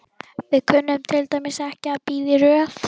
Við kunnum til dæmis ekki að bíða í röð.